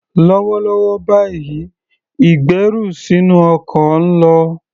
Lọ́wọ́lọ́wọ́ báyìí, ìgbẹ́rù sínú ọkọ̀ ń lọ.